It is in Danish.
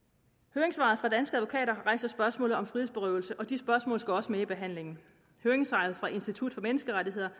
høringssvaret fra danske advokater rejser spørgsmål om frihedsberøvelse og de spørgsmål skal også med i behandlingen høringssvaret fra institut for menneskerettigheder